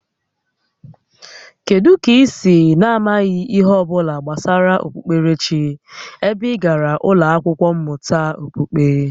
Kedụ kà i si ya amaghị ihe ọbụla gbasara okpukperechi ebe ị gàrà ụlọ akwụkwọ mmụta okpukpe?